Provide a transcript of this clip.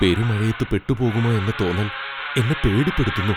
പെരുമഴയത്ത് പെട്ടുപോകുമോ എന്ന തോന്നൽ എന്നെ പേടിപ്പെടുത്തുന്നു.